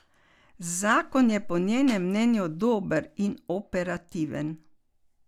Zakon je po njenem mnenju dober in operativen.